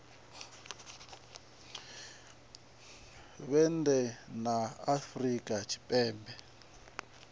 vhe nnḓa ha afrika tshipembe